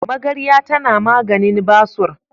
Magarya tana maganin basur.